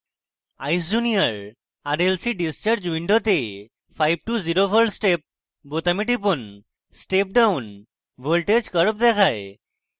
eyes junior: rlc discharge window 5> 0v step বোতামে টিপুন step down voltage curve দেখায়